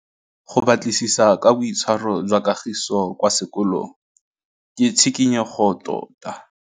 Go batlisisa ka boitshwaro jwa Kagiso kwa sekolong ke tshikinyêgô tota.